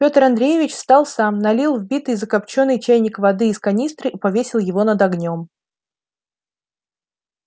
пётр андреевич встал сам налил в битый закопчённый чайник воды из канистры и повесил его над огнём